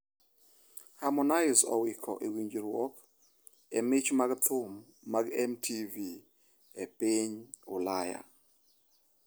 Hermonize "owiko" e winjruok e mich mag thum mag MTV e piny Ulaya